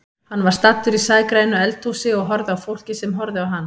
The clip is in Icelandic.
Hann var staddur í sægrænu eldhúsi og horfði á fólkið sem horfði á hann.